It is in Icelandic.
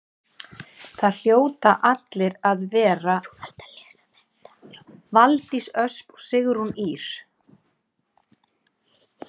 Valdís Ösp og Sigrún Ýr.